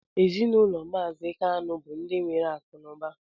Ezinụlọ mazi kanu bu ndi nwere akụ na ụba